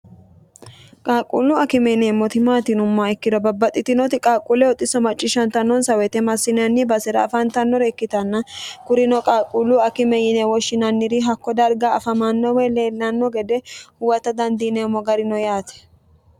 qaaqquullu akime yineemmoti maati yinummaha ikkiro babbaxxitinoti qaaqquullo xisso macciishshantannonsa woyite massinenni basira afantannore ikkitanna kurino qaaqquullu akime yine woshshinanniri hakko darga afamanno weyi leellanno gede huwata dandiineemmo garino yaate